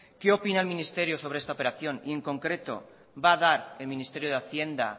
qué opina el ministerio sobre esta operación y en concreto va a dar el ministerio de hacienda